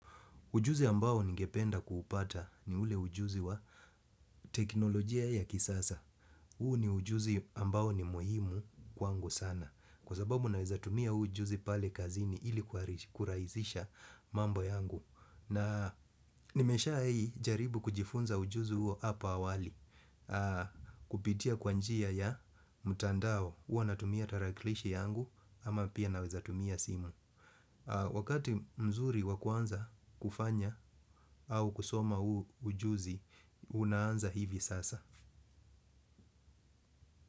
Ujuzi ambao ningependa kuupata ni ule ujuzi wa teknolojia ya kisasa. Huu ni ujuzi ambao ni muhimu kwangu sana. Kwa sababu naweza tumia huu ujuzi pale kazini ili kurahisisha mambo yangu. Na nimeshahai jaribu kujifunza ujuzi huo hapa awali. Kupitia kwa njia ya mtandao huwa natumia tarakilishi yangu ama pia naweza tumia simu. Wakati mzuri wa kuanza kufanya au kusoma huu ujuzi, unaanza hivi sasa.